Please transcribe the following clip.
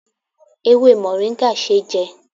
Ewé moringa ṣé jẹ